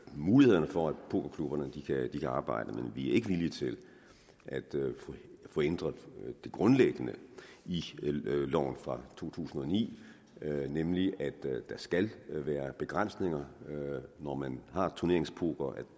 mulighederne for at pokerklubberne kan arbejde men vi er ikke villige til at ændre det grundlæggende i loven fra to tusind og ni nemlig at der skal være begrænsninger når man har turneringspoker og at